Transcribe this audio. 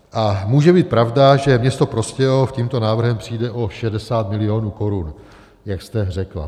A může být pravda, že město Prostějov tímto návrhem přijde o 60 milionů korun, jak jste řekla.